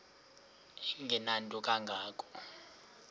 engenanto kanga ko